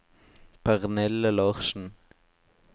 Pernille Larsen